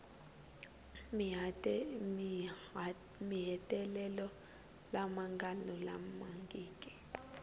ni mahetelelo lama nga lulamangiki